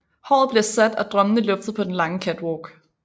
Håret bliver sat og drømmene luftet på den lange catwalk